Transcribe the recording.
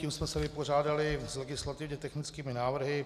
Tím jsme se vypořádali s legislativně technickými návrhy.